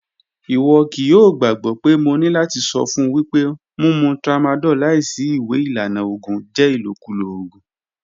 Iwọ kii yoo gbagbọ pe mo ni lati sọ fun wipe mumu tramadol laisi iwe ilana oògùn jẹ ilokulo oògùn.